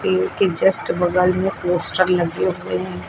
इनके जस्ट बगल में पोस्टर लगे हुए हैं।